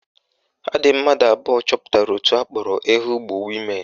Ha dị mmadụ abụọ chọpụtara òtù akpọrọ Ehugbo Women